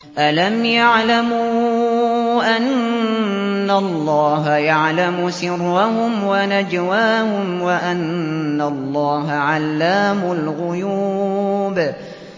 أَلَمْ يَعْلَمُوا أَنَّ اللَّهَ يَعْلَمُ سِرَّهُمْ وَنَجْوَاهُمْ وَأَنَّ اللَّهَ عَلَّامُ الْغُيُوبِ